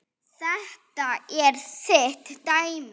Þetta er þitt dæmi.